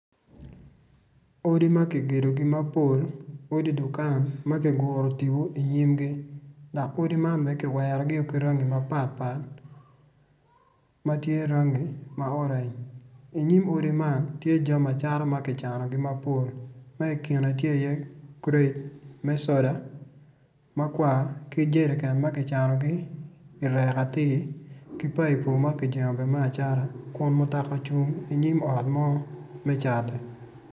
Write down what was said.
Odi ma kigedogi mapol odi dukan ma kiguro tipo i nyimgi dok odi man kiwerogi ki rangi maparpar ma tye rangi ma oreny i nyim odi man tye jami acatama ki canogi mapol ma i kine tye iye kret me soda ma kwa ki jerican ma kicanogi i rek atir ki paipo ma kijengo me acata kun mutoka ocung i nyim ot mo me cata.